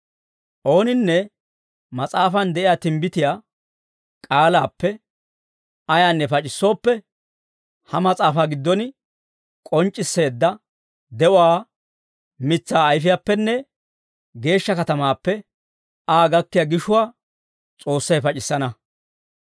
Ooninne mas'aafan de'iyaa timbbitiyaa k'aalaappe ayaanne pac'issooppe, ha mas'aafaa giddon k'onc'c'isseedda de'uwaa mitsaa ayfiyaappenne geeshsha katamaappe Aa gakkiyaa gishuwaa S'oossay pac'issana.